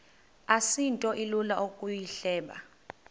asinto ilula ukuyihleba